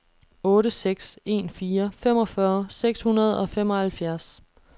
otte seks en fire femogfyrre seks hundrede og femoghalvfjerds